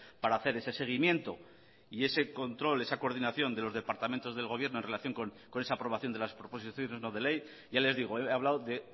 para hacer ese seguimiento y ese control esa coordinación de los departamentos del gobierno en relación con esa aprobación de las proposiciones no de ley ya les digo he hablado de